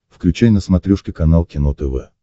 включай на смотрешке канал кино тв